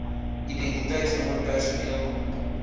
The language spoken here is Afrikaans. identiteitsnommer personeel nr